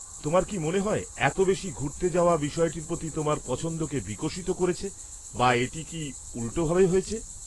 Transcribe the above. তোমার কি মনে হয় এত বেশি ঘুরতে যাওয়া বিষয়টির প্রতি তোমার পছন্দকে বিকশিত করেছে বা এটি কি উল্টোভাবে হয়েছে?